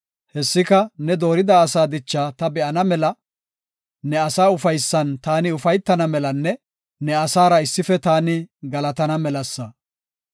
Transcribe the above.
Hessika ne doorida asaa dichaa ta be7ana mela, ne asaa ufaysan taani ufaytana melanne ne asaara issife taani galatana melasa.